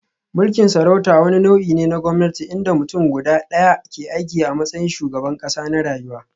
Mulkin sarauta wani nau'i ne na gwamnati inda mutum guda ɗaya, ke aiki a matsayin shugaban ƙasa na rayuwa.